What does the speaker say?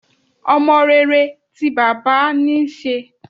Ọmọ rere ti bàbá níí ṣe.